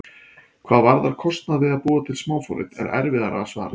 Hvað varðar kostnað við að búa til smáforrit er erfiðara að svara.